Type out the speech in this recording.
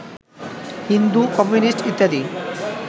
Hindu, communist ইত্যাদি